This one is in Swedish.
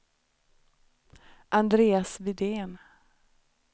Andreas Widén